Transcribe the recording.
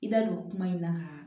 I da don kuma in na ka